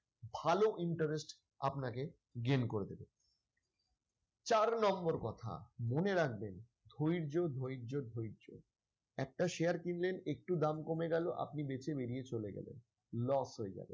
ভালো interest আপনাকে gain করে দিবে চার number কথা মনে রাখবেন ধৈর্য ধৈর্য ধৈর্য একটা share কিনলেন একটু দাম কমে গেল আপনি বেঁচে বেরিয়ে চলে গেল loss হয়ে যাবে।